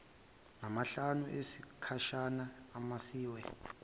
namahlanu esikhashana amiswe